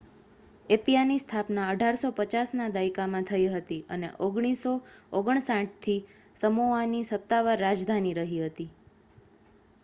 એપિયાની સ્થાપના 1850ના દાયકામાં થઈ હતી અને 1959થી તે સમોઆની સત્તાવાર રાજધાની રહી હતી